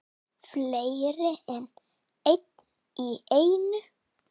Fleiri en einn í einu?